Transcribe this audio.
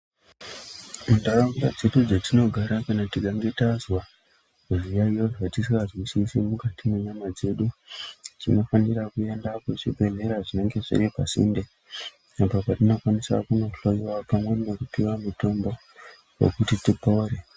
Muntharaunda dzedu dzatinogara kana tikange tazwa zviyayeyo zvatisingazwisisi mukati mwenyama dzedu. Tinofanira kuenda kuzvibhedhlera zvinenge zviri pasinde uko kwatinokwanisa kundhloyiwa pamwe nokupiwa mutombo wekuti tipone.